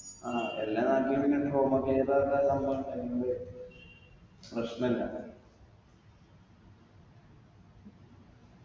ആ എല്ലാ നാട്ടിലും പിന്നെ സംഭങ്ങളെലെല്ലുണ്ട് പ്രശ്നില്ല